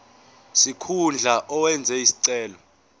sikhundla owenze isicelo